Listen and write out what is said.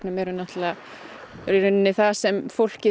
er náttúrulega það sem fólkið